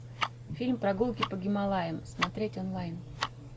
фильм прогулки по гималаям смотреть онлайн